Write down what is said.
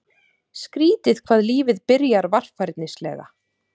Skrýtið hvað lífið byrjar varfærnislega.